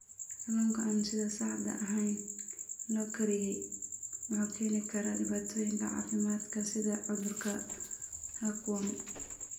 Kalluunka aan sida saxda ahayn loo kariyey wuxuu keeni karaa dhibaatooyin caafimaad sida cudurka hookworm.